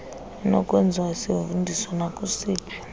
inokwenziwa isivundiso nakusiphi